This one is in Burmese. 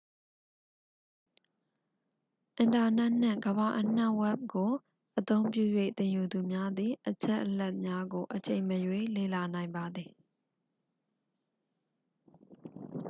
အင်တာနက်နှင့် ကမ္ဘာအနှံ ဝက်ဘ် ကို အသုံးပြု၍ သင်ယူသူများသည် အချက်အလက်များကို အချိန်မရွေး လေ့လာနိုင်ပါသည်